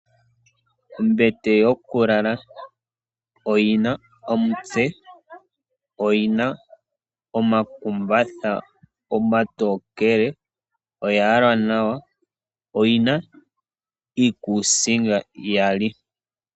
Ombete yokulala oyina omutse, oyina omakumbatha omatokele, oya yalwa nawa, oyina iikuusinga iyali.